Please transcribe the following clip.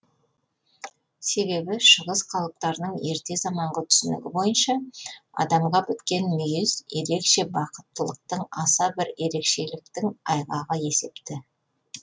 себебі шығыс халықтарының ерте заманғы түсінігі бойынша адамға біткен мүйіз ерекше бақыттылықтың аса бір ерекшеліктің айғағы есепті